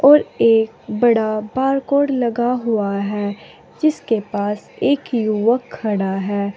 और एक बड़ा बारकोड लगा हुआ है जिसके पास एक युवक खड़ा है।